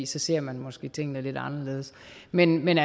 så ser man måske tingene lidt anderledes men men